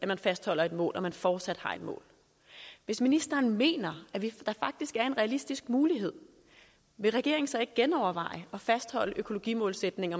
man fastholder et mål og at man fortsat har et mål hvis ministeren mener at der faktisk er en realistisk mulighed vil regeringen så ikke genoverveje at fastholde økologimålsætningen